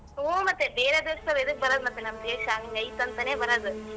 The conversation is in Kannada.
ಹೂ ಮತ್ತೆ ಬೇರೆ ದೇಶ್ದವ ಎದಕ್ ಬರದ್ ಮತ್ತೆ ನಮ್ ದೇಶ ಹಂಗೈತಂತಾನೇ ಬರದು .